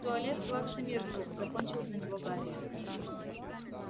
туалет плаксы миртл закончил за него гарри